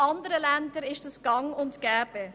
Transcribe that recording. In anderen Ländern ist dies gang und gäbe.